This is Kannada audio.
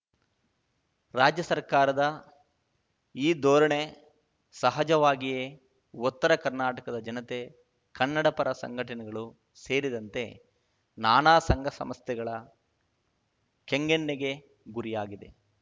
ರಾಜ್ಯ ಸರ್ಕಾರದ ಈ ಧೋರಣೆ ಸಹಜವಾಗಿಯೇ ಉತ್ತರ ಕರ್ನಾಟಕದ ಜನತೆ ಕನ್ನಡಪರ ಸಂಘಟನೆಗಳು ಸೇರಿದಂತೆ ನಾನಾ ಸಂಘ ಸಂಸ್ಥೆಗಳ ಕೆಂಗಣ್ಣಿಗೆ ಗುರಿಯಾಗಿದೆ